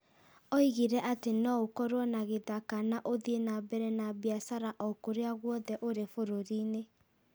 Oigire atĩ no ũkorũo na gĩthaka na ũthiĩ na mbere na biacara o kũrĩa guothe ũrĩ bũrũri-inĩ.